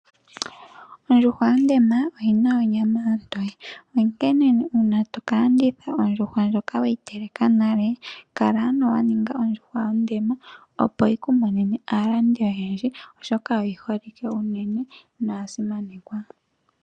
Ondjuhwa yondema oyi na onyama ontoye onkene uuna toka landitha ondjuhwa ndjoka weyi teleka nale kala ano wa ninga ondjuhwa ondema opo yi ku monene aalandi oyendji oshoka oyi holike unene noya simanekwa.